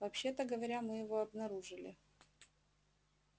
вообще-то говоря мы его обнаружили